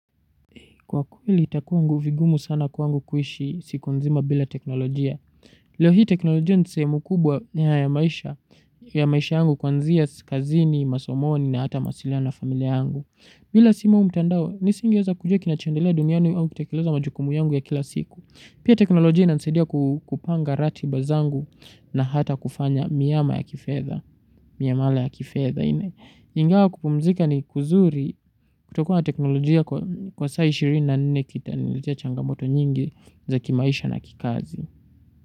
Kwa kweli itakuwa vigumu sana kwangu kuishi siku nzima bila teknolojia. Leo hii teknolojia ni sehemu kubwa ya maisha, ya maisha yangu kuanzia kazini, masomoni na hata maasiliano na familia yangu. Bila simu au mtandao, nisingeweza kujua kinachoendelea duniani au kutekeleza majukumu yangu ya kila siku. Pia teknolojia inansaidia kupanga ratiba zangu na hata kufanya miama ya kifedha, miamala ya kifedha. Ingawa kupumzika ni kuzuri kutokua na teknolojia kwa saa ishirini na nne kitaniletea changamoto nyingi za kimaisha na kikazi.